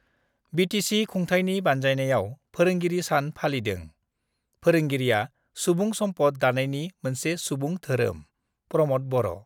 BTC खुंथाइनि बान्जायनायाव फोरोंगिरि सान फालिदों, फोरोंगिरिआ सुबुं सम्पद दानायनि मोनसे सुबुं धोरोमः प्रमद बर'